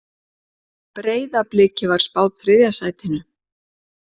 Breiðabliki var spáð þriðja sætinu